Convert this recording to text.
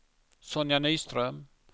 Sonja Nyström